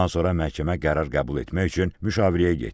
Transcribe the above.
Bundan sonra məhkəmə qərar qəbul etmək üçün müşavirəyə getdi.